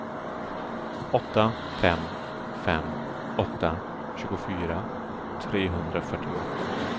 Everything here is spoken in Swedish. åtta fem fem åtta tjugofyra trehundrafyrtioåtta